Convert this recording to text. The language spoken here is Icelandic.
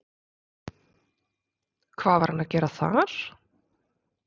Hvað var hann að gera þar?